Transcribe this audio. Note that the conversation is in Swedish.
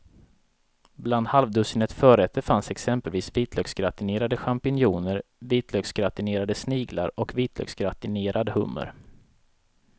Bland halvdussinet förrätter fanns exempelvis vitlöksgratinerade champinjoner, vitlöksgratinerade sniglar och vitlöksgratinerad hummer.